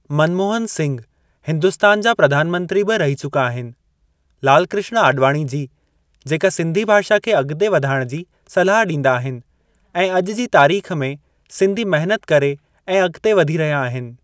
मनमोहन सिंघ हिंदुस्तान जा प्रधानमंत्री बि रही चुका आहिनि। लाल कृष्ण आॾवाणी जी जेका सिंधी भाषा खे अॻिते वधाइणु जी सलाह ॾींदा आहिनि ऐं अॼु जी तारीख़ में सिंधी महिनत करे ऐं अॻिते वधी रहिया आहिनि।